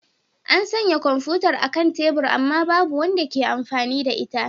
An sanya kwamfutar a kan tebur amma babu wanda ke amfani da ita.